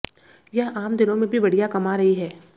यह आम दिनों में भी बढ़िया कमा रही है